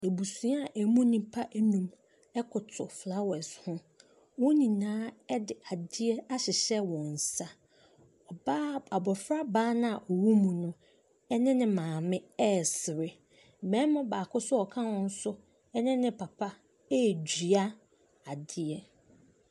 Abusua a ɛmu nnipa nnum koto flowers ho. Wɔn nyinaa de adeɛ ahyehyɛ wɔn nsa. Ɔbaa abɔfra no a ɔwom no ne ne maame resere. Barima baako nso a ɔka ho nso ne ne papa redua adeɛ.